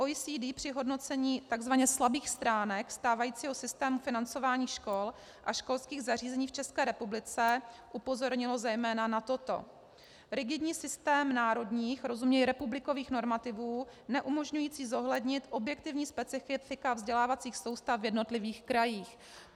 OECD při hodnocení tzv. slabých stránek stávajícího systému financování škol a školských zařízení v České republice upozornilo zejména na toto: Rigidní systém národních, rozuměj republikových, normativů neumožňující zohlednit objektivní specifika vzdělávacích soustav v jednotlivých krajích.